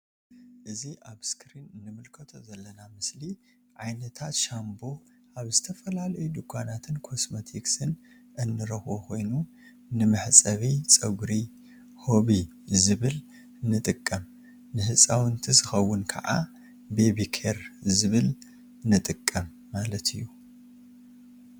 እዚ ኣብ እስክሪን እንምልከቶ ዘለና ምስሊ ዓይነታት ሻንቦ ኣብ ዝተፈላለዩ ዱካናትን ኮስሞቲክስን እንረክቦ ኮይኑ ንመሕጸቢ ጸጉሪ ሆቢ ዝበል ንጥቀም ን ህጻውንቲ ዝከውን ክዓ ቤቢ ኬር ዝብሃል ንጥቀም ማለት እዩ።